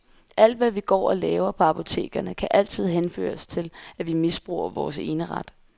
Alt hvad vi går og laver på apotekerne kan altid henføres til, at vi misbruger vores eneret.